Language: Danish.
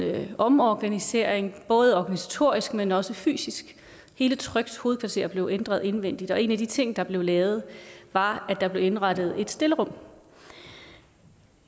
omorganisering både organisatorisk men også fysisk hele trygs hovedkvarter blev ændret indvendigt og en af de ting der blev lavet var at der blev indrettet et stillerum